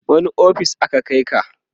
wani ofis aka Kai ka?